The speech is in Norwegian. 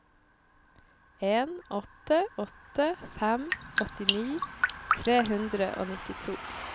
en åtte åtte fem åttini tre hundre og nittito